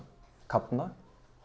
kafna